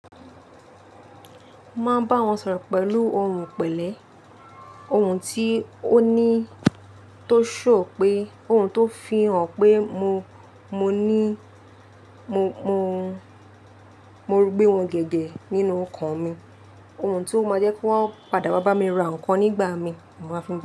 Mo ma nbá wọn sọ̀rọ̀ pẹ̀lú ohùn pẹ̀lẹ́, ohùn tí ó ní tó show pé ohùn tó fihàn pé mo, mo ní, mo, mo, mo rugbẹ́ wọn gẹ̀gẹ́ nínú ọkàn mi. Ohùn tí ó máa jẹ́ kí wọ́n padà wá bá mi ra nǹkan nígbà mi, mo máa fi ń ba.